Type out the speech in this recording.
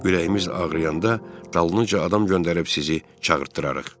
Ürəyimiz ağrıyanda dalınca adam göndərib sizi çağırtdırarıq.